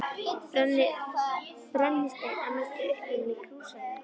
Brennisteinn að mestu uppurinn í Krýsuvík.